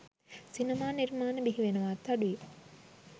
සිනමා නිර්මාණ බිහිවෙනවාත් අඩුයි.